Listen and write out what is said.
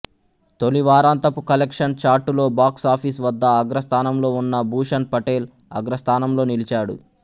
తొలి వారాంతపు కలెక్షన్ చార్టులో బాక్స్ ఆఫీసు వద్ద అగ్రస్థానంలో ఉన్న భూషణ్ పటేల్ అగ్రస్థానంలో నిలిచాడు